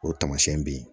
O tamasiyɛn bɛ ye